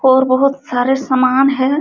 और बहोत सारे सामान है।